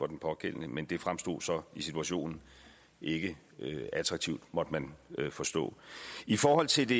den pågældende men det fremstod så i situationen ikke attraktivt måtte man forstå i forhold til det